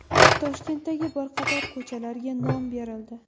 Toshkentdagi bir qator ko‘chalarga nom berildi.